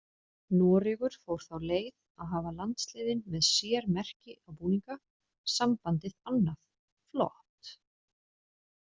Noregur fór þá leið að hafa landsliðin með sér merki á búninga, sambandið annað, flott.